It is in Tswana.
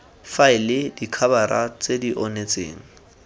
faele dikhabara tse di onetseng